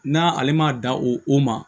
N'a ale ma da o o ma